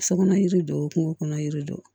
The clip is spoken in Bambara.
Sokɔnɔ yiri don kungo kɔnɔ yiri don